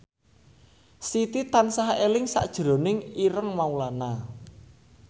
Siti tansah eling sakjroning Ireng Maulana